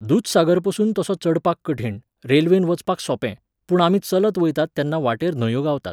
दूदसागरपासून तसो चडपाक कठीण, रेल्वेन वचपाक सोंपें, पूण आमी चलत वयतात तेन्ना वाटेर न्हंयो गावतात.